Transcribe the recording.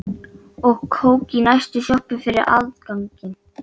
Við augun er mikið af hrukkum, mest ef ég brosi.